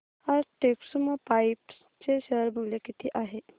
आज टेक्स्मोपाइप्स चे शेअर मूल्य किती आहे